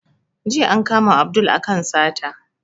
Jiya an kama Abdul a kan sata